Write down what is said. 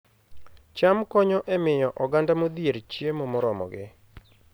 cham konyo e miyo oganda modhier chiemo moromogi